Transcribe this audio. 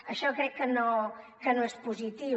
això crec que no és positiu